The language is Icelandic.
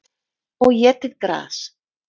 Og étið gras.